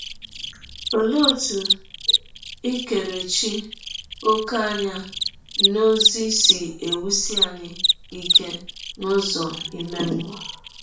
Ọlee ọtụ ikerechi ọ̀kè anya n’ọzi si ewụsi anyị ike n’ụzọ ime mmụọ?